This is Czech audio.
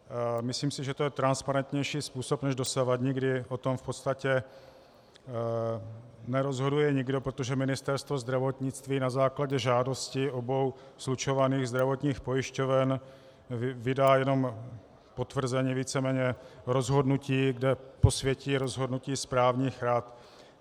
Myslím si, že to je transparentnější způsob než dosavadní, kdy o tom v podstatě nerozhoduje nikdo, protože Ministerstvo zdravotnictví na základě žádosti obou slučovaných zdravotních pojišťoven vydá jenom potvrzení, víceméně rozhodnutí, kde posvětí rozhodnutí správních rad.